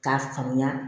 K'a faamuya